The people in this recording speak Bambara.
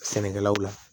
Sɛnɛkɛlaw la